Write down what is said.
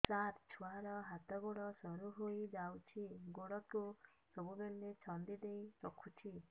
ସାର ଛୁଆର ହାତ ଗୋଡ ସରୁ ହେଇ ଯାଉଛି ଗୋଡ କୁ ସବୁବେଳେ ଛନ୍ଦିଦେଇ ରଖୁଛି